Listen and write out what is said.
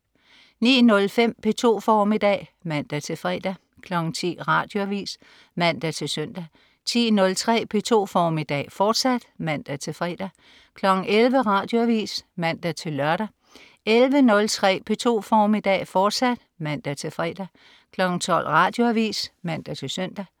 09.05 P2 formiddag (man-fre) 10.00 Radioavis (man-søn) 10.03 P2 formiddag, fortsat (man-fre) 11.00 Radioavis (man-lør) 11.03 P2 formiddag, fortsat (man-fre) 12.00 Radioavis (man-søn)